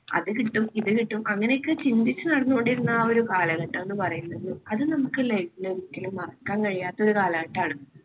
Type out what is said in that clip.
അത് കിട്ടും ഇത് കിട്ടും അങ്ങനെയൊക്കെ ചിന്തിച്ചു നടന്നുകൊണ്ടിരുന്ന ആ ഒരു കാലഘട്ടം എന്ന് പറയുന്നത് അത് നമുക്ക് life ൽ ഒരിക്കലും മറക്കാൻ കഴിയാത്ത ഒരു കാലഘട്ടമാണ്.